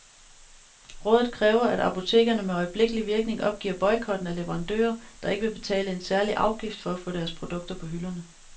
Rådet kræver, at apotekerne med øjeblikkelig virkning opgiver boykotten af leverandører, der ikke vil betale en særlig afgift for at få deres produkter på hylderne.